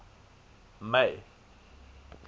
may